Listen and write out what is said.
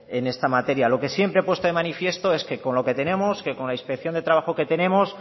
en esta materia lo que siempre he puesto de manifiesto es que con lo que tenemos con la inspección de trabajo que tenemos